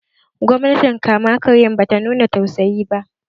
Gwamnatin kama karyan ba ta nuna tausayi ba